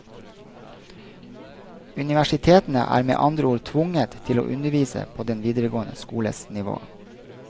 Universitetene er med andre ord tvunget til å undervise på den videregående skoles nivå.